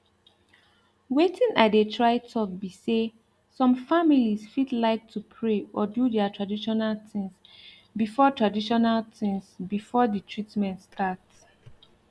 wetin i dey try talk be say some families fit like to pray or do their traditional things before traditional things before the treatment start